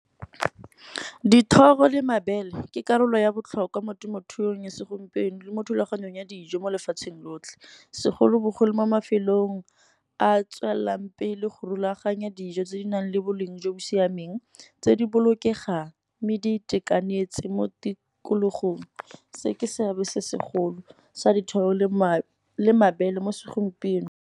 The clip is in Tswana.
Dithoro le mabele ke karolo ya botlhokwa mo temothuong ya segompieno, le mo thulaganyong ya dijo mo lefatsheng lotlhe. Segolobogolo mo mafelong a tswelelang pele go rulaganya nnyaa dijo tse di nang le boleng jo bo siameng, tse di bolokegang. Mme di itekanetse mo tikologong, se ke seabe se segolo sa dithoro le mabele mo segompieno.